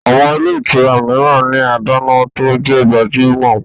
Àwọn ilé ìtura mìíran ní adáná tó jẹ gbajúmọ̀